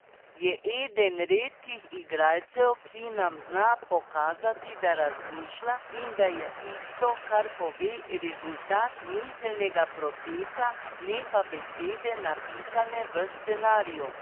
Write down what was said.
Je eden redkih igralcev, ki nam zna pokazati, da razmišlja, in da je tisto, kar pove, rezultat miselnega procesa, ne pa besede, napisane v scenariju.